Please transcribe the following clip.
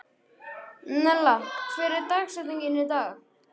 Nella, hver er dagsetningin í dag?